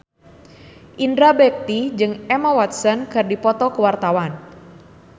Indra Bekti jeung Emma Watson keur dipoto ku wartawan